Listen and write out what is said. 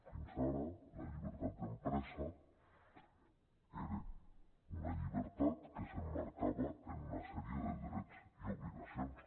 fins ara la llibertat d’empresa era una llibertat que s’emmarcava en una sèrie de drets i obligacions